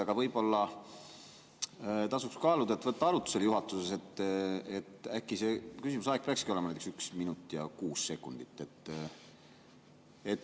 Aga võib-olla tasuks kaaluda, kas võtta juhatuses arutlusele see, et äkki küsimuse aeg peakski olema näiteks üks minut ja kuus sekundit.